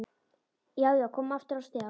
Já, já, komin aftur á stjá!